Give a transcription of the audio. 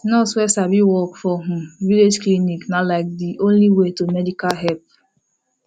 nurse wey sabi work for um village clinic na like de only way to medical help